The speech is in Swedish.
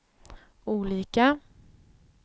olika